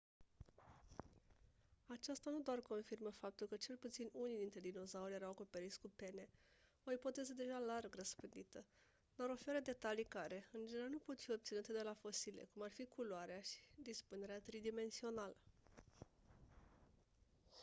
aceasta nu doar confirmă faptul că cel puțin unii dintre dinozauri erau acoperiți cu pene o ipoteză deja larg răspândită dar oferă detalii care în general nu pot fi obținute de la fosile cum ar fi culoarea și dispunerea tridimensională